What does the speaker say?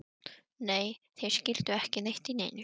Nei, þeir skildu ekki neitt í neinu.